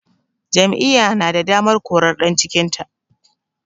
Jam'iyya na da damar korar ɗan cikinta